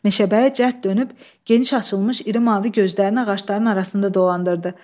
Meşəbəyi cəhd dönüb geniş açılmış iri mavi gözlərini ağacların arasında dolandırdı.